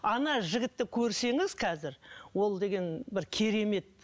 ана жігітті көрсеңіз қазір ол деген бір керемет